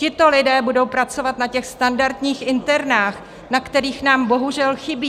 Tito lidé budou pracovat na těch standardních internách, na kterých nám bohužel chybí.